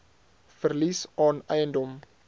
verlies aan eiendom